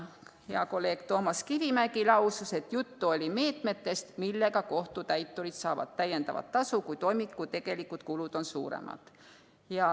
Hea kolleeg Toomas Kivimägi lausus, et juttu oli meetmetest, mille abil kohtutäiturid saavad täiendavat tasu, kui toimingu tegelikud kulud on suuremad.